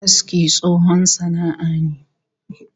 Aski tsohon sana'a ne